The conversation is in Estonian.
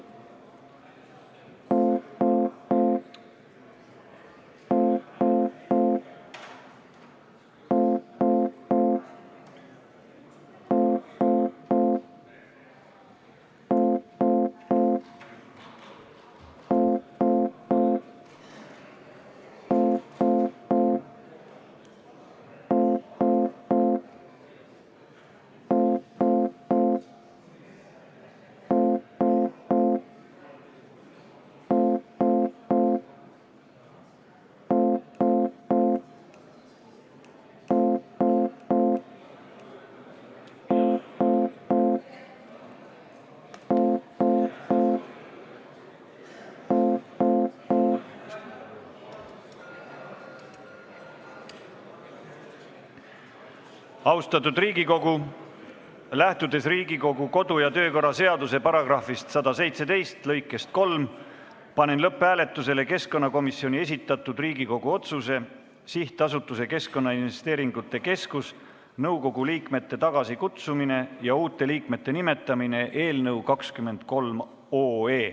Austatud Riigikogu, lähtudes Riigikogu kodu- ja töökorra seaduse § 117 lõikest 3, panen lõpphääletusele keskkonnakomisjoni esitatud Riigikogu otsuse "Sihtasutuse Keskkonnainvesteeringute Keskus nõukogu liikmete tagasikutsumine ja uute liikmete nimetamine" eelnõu 23.